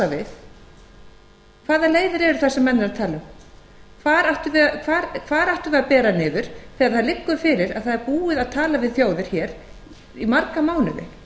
við hvaða leiðir eru það sem menn eru að tala um hvar ættum við að bera niður þegar það liggur fyrir að það er búið að tala við þjóðir hér í marga mánuði